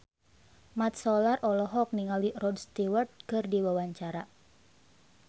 Mat Solar olohok ningali Rod Stewart keur diwawancara